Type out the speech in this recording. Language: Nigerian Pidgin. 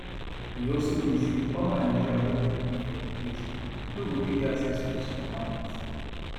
e also mean say oda nigerians wey dey live for di place no go fit get access to di supermarket